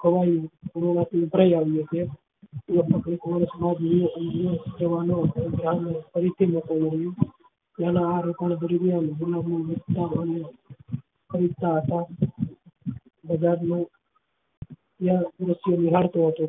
બજાર માં વિહરતો હતો